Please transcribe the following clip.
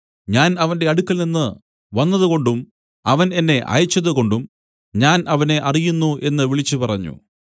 ഞാൻ അവന്റെ അടുക്കൽ നിന്നു വന്നതുകൊണ്ടും അവൻ എന്നെ അയച്ചതുകൊണ്ടും ഞാൻ അവനെ അറിയുന്നു എന്നു വിളിച്ചുപറഞ്ഞു